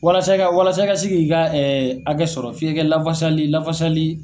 Walasa i ka walasa i ka s'i ka hakɛ sɔrɔ f'i kɛ kɛ lafasali lafasali